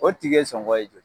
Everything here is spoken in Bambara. O tike ye sɔngɔ ye jɔli ye,